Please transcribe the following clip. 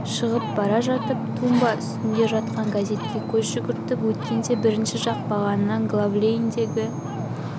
шығып бара жатып тумба үстінде жатқан газтке көз жүгіртіп өткенде бірінші жақ бағанынан главлейндегі